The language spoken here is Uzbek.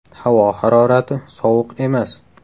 Havo harorati sovuq emas.